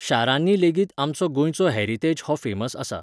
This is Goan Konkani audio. शारांनी लेगीत आमचो गोंयचो हॅरितेज हो फॅमस आसा.